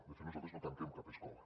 de fet nosaltres no tanquem cap escola